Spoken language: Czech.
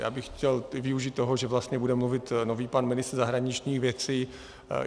Já bych chtěl využít toho, že vlastně bude mluvit nový pan ministr zahraničních věcí.